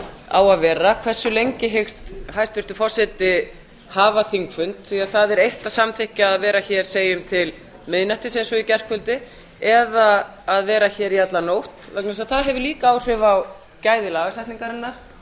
á að vera hversu lengi hyggst hæstvirtur forseti hafa þingfund því að það er eitt að samþykkja að vera hér segjum til miðnættis eins og í gærkvöldi eða að vera hér í alla nótt vegna þess að það hefur líka áhrif á gæði lagasetningarinnar og